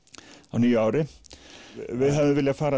á nýju ári við hefðum viljað fara